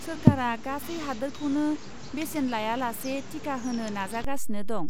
सोरखारा गासै हादोरखौनो बेसेन लायालासे टिका होनो नाजागासिनो दं।